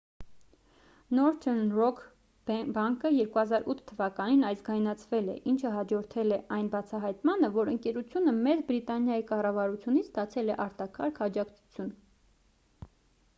northern rock բանկը 2008 թ ազգայնացվել է ինչը հաջորդել է այն բացահայտմանը որ ընկերությունը մեծ բրիտանիայի կառավարությունից ստացել է արտակարգ աջակցություն